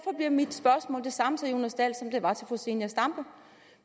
bliver mit spørgsmål det samme til herre jonas dahl som det var til fru zenia stampe